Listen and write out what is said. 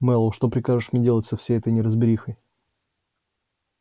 мэллоу что прикажешь мне делать со всей этой неразберихой